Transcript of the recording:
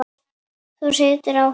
Þú situr á honum, amma!